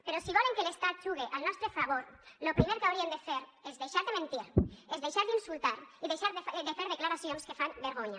però si volen que l’estat jugue al nostre favor lo primer que haurien de fer és deixar de mentir és deixar d’insultar i deixar de fer declaracions que fan vergonya